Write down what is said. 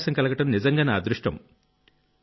అవకాశం కలగడం నిజంగా నా అదృష్టం